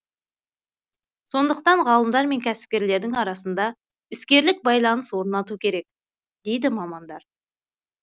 сондықтан ғалымдар мен кәсіпкерлердің арасында іскерлік байланыс орнату керек дейді мамандар